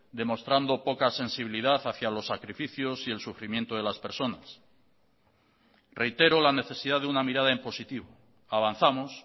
demostrando poca sensibilidad hacia los sacrificios y el sufrimiento de las personas reitero la necesidad de una mirada en positivo avanzamos